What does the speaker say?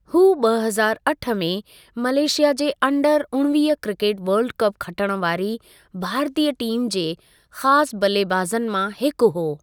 हू ॿ हज़ारु अठ में मलेशिया जे अंडर उणिवींह क्रिकेटु वर्ल्ड कपु खटण वारी भारतीय टीम जे ख़ासि बल्लेबाज़नि मां हिकु हो।